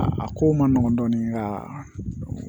A ko ma nɔgɔn dɔɔnin ka